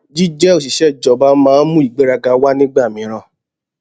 jíjẹ òṣìṣẹ ìjọba máa ń mú ìgbéraga wá nígbà mìíràn